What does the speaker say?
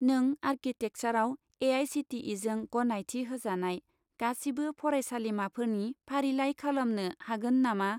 नों आर्किटेकसारआव ए.आइ.सि.टि.इ.जों गनायथि होजानाय गासिबो फरायसालिमाफोरनि फारिलाइ खालामनो हागोन नामा?